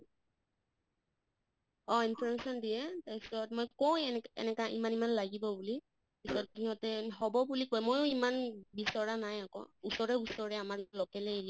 অহ information দিয়ে তাৰ পিছত মই কওঁ এনেকা ইমান ইমান লাগিব বুলি পিছত ইহঁতে হʼব বুলি কয়, ময়ো ইমান বিচৰাঁ নাই আকৌ ওচৰে ওচৰে আমাৰ local য়ে area